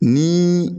Ni